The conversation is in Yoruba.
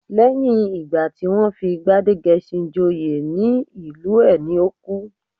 Lẹ́yìn ìgbà tí wọ́n fi Gbádégẹṣin joyè ní ìlú ẹ̀ ni ó kú